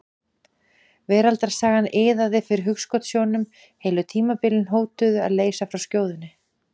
Veraldarsagan iðaði fyrir hugskotssjónum, heilu tímabilin hótuðu að leysa frá skjóðunni.